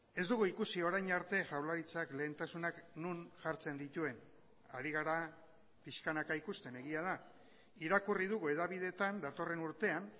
ez dugu ikusi orain arte jaurlaritzak lehentasunak non jartzen dituen ari gara pixkanaka ikusten egia da irakurri dugu hedabideetan datorren urtean